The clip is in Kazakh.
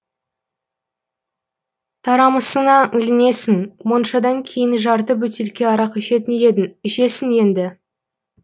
тарамысыңа ілінесің моншадан кейін жарты бөтелке арақ ішетін едің ішесің енді